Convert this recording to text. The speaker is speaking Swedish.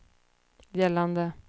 gällande